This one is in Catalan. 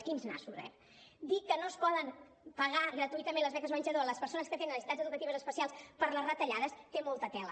quins nassos eh dir que no es poden pagar gratuïtament les beques menjador a les persones que tenen necessitats educatives especials per les retallades té molta tela